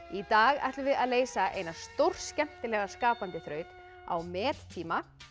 í dag ætlum við að leysa eina stórskemmtilega skapandi þraut á mettíma